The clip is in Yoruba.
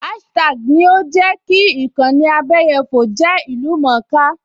Áṣítá́àgì ni ó jẹ́ kí ìkànnì abẹyẹfò jẹ́ ìlú-mọ̀-ọ́n-ká